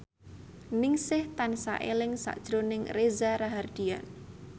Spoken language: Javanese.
Ningsih tansah eling sakjroning Reza Rahardian